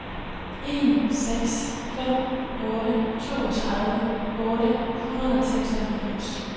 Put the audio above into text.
en seks fem otte toogtredive otte hundrede og seksoghalvfems